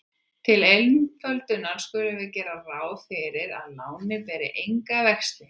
Til einföldunar skulum við gera ráð fyrir að lánið beri enga vexti.